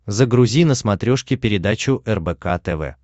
загрузи на смотрешке передачу рбк тв